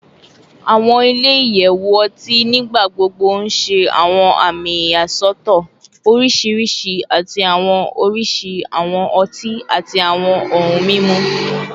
Awọn ile-iyẹwu ọti nigbagbogbo n ṣe awọn ami iyasọtọ oriṣiriṣi ati awọn oriṣi awọn ọti ati awọn ohun mimu